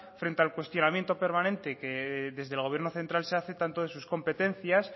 frente al cuestionamiento permanente que desde el gobierno central se hace tanto de sus competencias